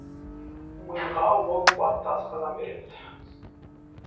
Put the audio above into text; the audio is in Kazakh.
миға ол қуатты асқазан береді